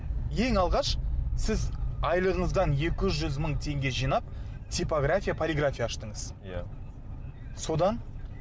ең алғаш сіз айлығыңыздан екі жүз мың теңге жинап типография полиграфия аштыңыз иә содан